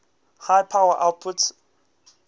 high power outputs